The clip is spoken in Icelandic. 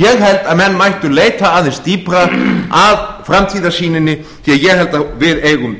ég held að menn mættu leita aðeins dýpra að framtíðarsýninni því að ég held að við eigum